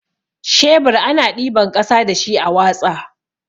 Shebur ana ɗiban ƙasa dashi a watsa.